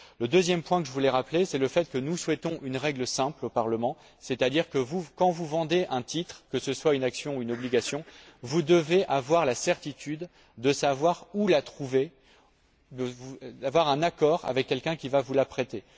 Le deuxième point que je voulais rappeler, c'est le fait que nous souhaitons une règle simple au Parlement, c'est à dire que, quand vous vendez un titre, que ce soit une action ou une obligation, vous devez avoir la certitude de savoir où la trouver, il doit y avoir un accord avec quelqu'un qui va vous la prêter.